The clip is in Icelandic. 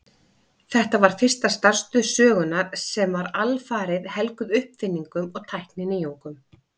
Þetta var fyrsta starfstöð sögunnar sem var alfarið helguð uppfinningum og tækninýjungum.